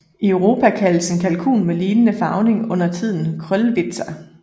I Europa kaldes en kalkun med lignende farvning undertiden Cröllwitzer